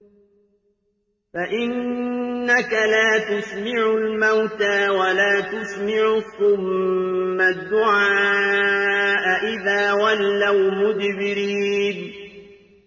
فَإِنَّكَ لَا تُسْمِعُ الْمَوْتَىٰ وَلَا تُسْمِعُ الصُّمَّ الدُّعَاءَ إِذَا وَلَّوْا مُدْبِرِينَ